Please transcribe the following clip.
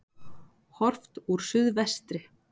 Horft úr suðvestri.